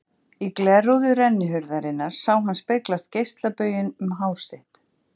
Í glerrúðu rennihurðarinnar sá hann speglast geislabauginn um hár sitt.